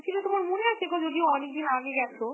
ছিল তোমার মনে আছেগো? যদিও অনেকদিন আগে গেছো